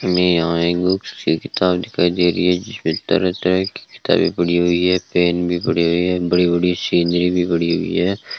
हमें यहां एक दो किताब दिखाई दे रही है जिसपे तरह तरह की किताबें पड़ी हुई है पेन भी पड़ी हुई है बड़ी-बड़ी सीनरी भी पड़ी हुई है।